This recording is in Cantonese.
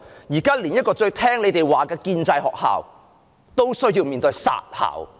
現在連這一所最聽命於政府的建制學校也面臨"殺校"。